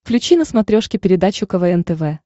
включи на смотрешке передачу квн тв